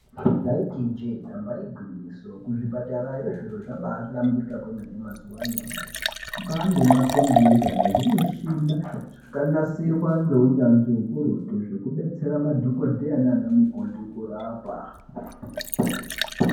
Taiti ijee damba igwinyiso kuzvipatarayo zviro zvabahlamburika kwemene mazuva anyamashi. Kwane makombiyuta nezvimushina zvakanasirwa ngeunyanzvi hukurutu, zvekubetsera madhogodheya nana mukoti kurapa.